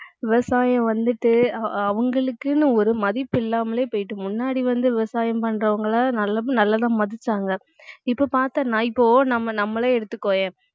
விவசாயம் வந்துட்டு அ~ அவங்களுக்குன்னு ஒரு மதிப்பு இல்லாமலே போயிட்டு முன்னாடி வந்து விவசாயம் பண்றவங்கள நல்லதா நல்லதா மதிச்சாங்க இப்ப பார்த்தா நான் இப்போ நம்ம நம்மளே எடுத்துக்கோயேன்